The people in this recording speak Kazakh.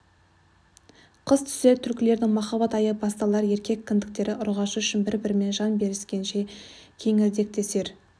қыс түсер түлкілердің махаббат айы басталар еркек кіндіктері ұрғашы үшін бір-бірімен жан беріскенше кеңірдектесер